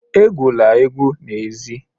Egwula egwu n'èzí!